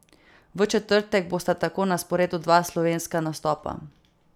V četrtek bosta tako na sporedu dva slovenska nastopa.